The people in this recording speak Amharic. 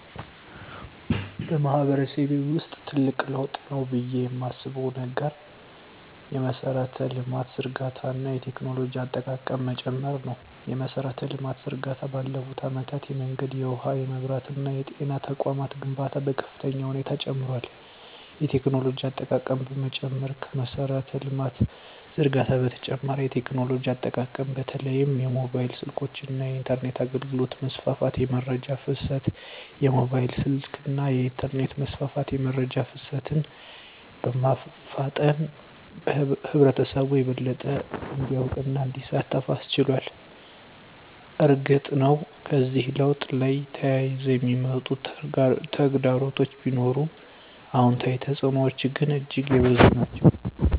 በማህበረሰቤ ውስጥ ትልቅ ለውጥ ነው ብዬ የማስበው ነገር የመሠረተ ልማት ዝርጋታ እና የቴክኖሎጂ አጠቃቀም መጨመር ነው። የመሠረተ ልማት ዝርጋታ ባለፉት አመታት የመንገድ፣ የውሃ፣ የመብራት እና የጤና ተቋማት ግንባታ በከፍተኛ ሁኔታ ጨምሯል። የቴክኖሎጂ አጠቃቀም መጨመር ከመሠረተ ልማት ዝርጋታ በተጨማሪ የቴክኖሎጂ አጠቃቀም በተለይም የሞባይል ስልኮች እና የኢንተርኔት አገልግሎት መስፋፋት። * የመረጃ ፍሰት: የሞባይል ስልክና የኢንተርኔት መስፋፋት የመረጃ ፍሰትን በማፋጠን ህብረተሰቡ የበለጠ እንዲያውቅና እንዲሳተፍ አስችሏል። እርግጥ ነው፣ ከዚህ ለውጥ ጋር ተያይዘው የሚመጡ ተግዳሮቶች ቢኖሩም፣ አዎንታዊ ተፅዕኖዎቹ ግን እጅግ የበዙ ናቸው።